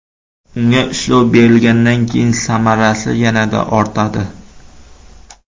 Unga ishlov berilgandan keyin samarasi yanada ortadi.